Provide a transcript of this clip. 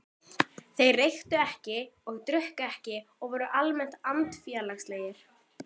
Þeir reyktu ekki og drukku ekki og voru almennt andfélagslegir.